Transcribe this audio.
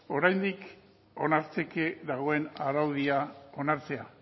oraindik onartzeke dagoen araudia onartzea